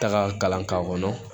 Taga kalan k'a kɔnɔ